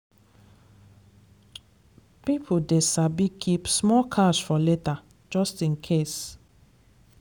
people dey sabi keep small cash for later just in case.